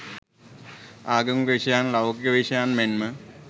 ආගමික විෂයයන් ලෞකික විෂයයන් මෙන්ම